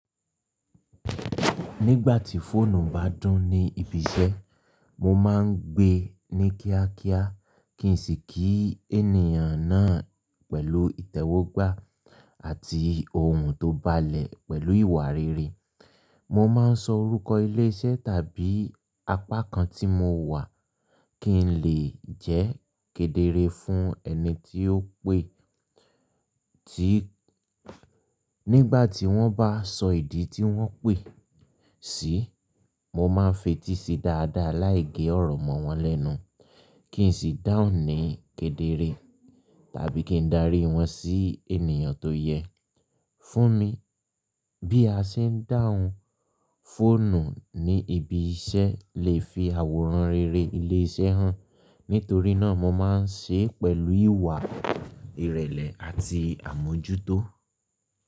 Nígbà tí fóònù bá dún ní ibi iṣẹ́, mo ma ń gbé ní kíákíá kí n sì kí ènìyàn náà pẹ̀lú ìtẹ́wọ́gbà àti ohùn tó balẹ̀ pẹ̀lú ìwà rere. Mo ma ń sọ orúkọ ilé iṣẹ́ tàbí apá kan tí mo wà kí n lè jẹ́ kedere fún ẹni tí ó pè tí. Nígbà tí wọ́n bá sọ ìdí tí wọ́n pè sí, mo ma ń fetísi dáadáa láì gé ọ̀rọ̀ mọ́ wọn lẹ́nu kí n sì dáhùn ní kedere tàbí kí n darí wọn sí ènìyàn tó yẹ fún mi. Bí a ṣe ń dáhùn fóònù ní ibi iṣẹ́ lè fi àwòrán rere ilé iṣẹ́ hàn. Nítorí náà mo ma ń ṣe é pẹ̀lú ìwà ìrẹ̀lẹ̀ àti àmójútó.